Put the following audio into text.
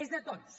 és de tots